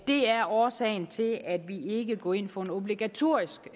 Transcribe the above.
det er årsagen til at vi ikke går ind for en obligatorisk